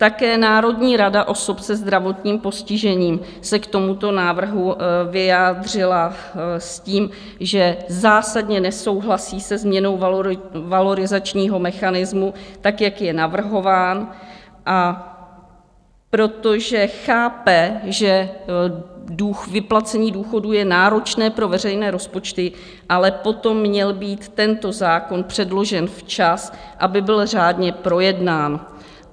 Také Národní rada osob se zdravotním postižením se k tomuto návrhu vyjádřila s tím, že zásadně nesouhlasí se změnou valorizačního mechanismu, tak jak je navrhován, a protože chápe, že vyplacení důchodů je náročné pro veřejné rozpočty, ale potom měl být tento zákon předložen včas, aby byl řádně projednán.